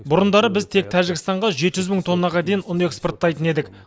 бұрындары біз тек тәжікстанға жеті жүз мың тоннаға дейін ұн экспорттайтын едік